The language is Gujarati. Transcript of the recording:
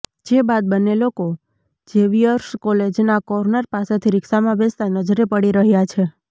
જે બાદ બન્ને લોકો ઝેવિયર્સ કોલેજના કોર્નર પાસેથી રિક્ષામાં બેસતા નજરે પડી રહ્યા છે